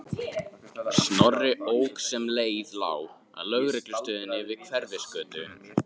Snorri ók sem leið lá að lögreglustöðinni við Hverfisgötu.